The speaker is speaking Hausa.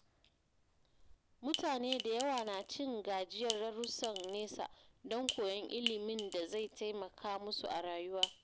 Mutane da yawa na cin gajiyar darusan nesa don koyon ilimin da zai taimaka musu a rayuwa.